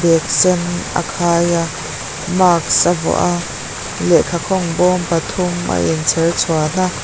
bag sen a khai a mask a vuah a lehkhakawng bawm pathum a inchher chhuan a --